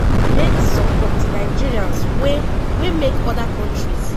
meet some of di nigerians wey wey make oda kontris